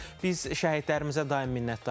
Biz şəhidlərimizə daim minnətdarıq.